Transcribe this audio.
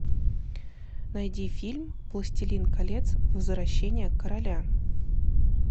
найди фильм властелин колец возвращение короля